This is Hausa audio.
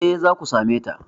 Eh, zaku same ta